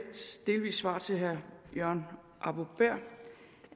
svar til herre jørgen arbo bæhr